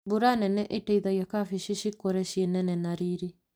Mbura nene ĩteithagia kabeci cikũre cinene na riri.